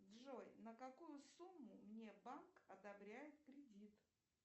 джой на какую сумму мне банк одобряет кредит